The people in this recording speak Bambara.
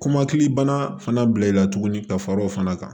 Kɔmɔkili bana fana bila i la tuguni ka fara o fana kan